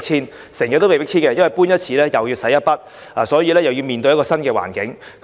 他們經常被迫遷，而每搬一次也要花一筆錢，又要面對新環境。